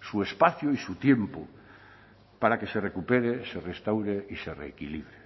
su espacio y su tiempo para que se recupere se restaure y se reequilibre